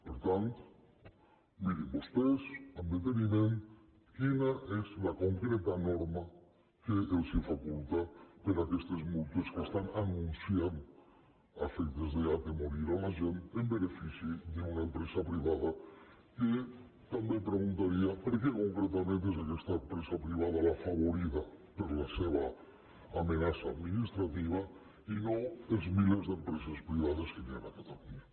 per tant mirin vostès amb deteniment quina és la concreta norma que els faculta per a aquestes multes que anuncien a efectes d’atemorir la gent en benefici d’una empresa privada que també preguntaria per què concretament és aquesta empresa privada l’afavorida per la seva amenaça administrativa i no els milers d’empreses privades que hi ha a catalunya